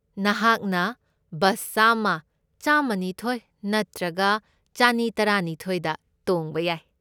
ꯅꯍꯥꯛꯅ ꯕꯁ ꯆꯥꯝꯃ, ꯆꯥꯝꯃꯅꯤꯊꯣꯢ ꯅꯠꯇ꯭ꯔꯒ ꯆꯅꯤꯇꯔꯥꯅꯤꯊꯣꯢꯗ ꯇꯣꯡꯕ ꯌꯥꯏ꯫